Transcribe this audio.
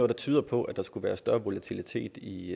der tyder på at der skulle være større volatilitet i